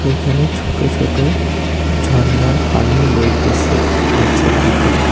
এখানে ছোট ছোট ঝন্নার পানি বইতেসে নীচের দিকে।